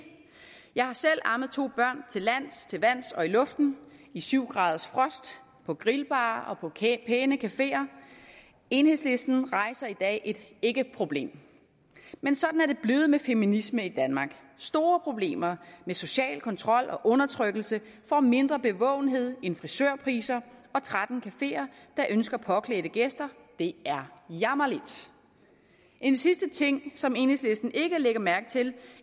jeg har selv ammet to børn til lands til vands og i luften i syv graders frost på grillbarer og på pæne cafeer enhedslisten rejser i dag et ikkeproblem men sådan er det blevet med feminismen i danmark store problemer med social kontrol og undertrykkelse får mindre bevågenhed end frisørpriser og tretten cafeer der ønsker påklædte gæster det er jammerligt en sidste ting som enhedslisten ikke lægger mærke til